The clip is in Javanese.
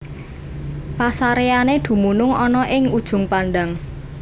Pasaréyané dumunung ana ing Ujung Pandang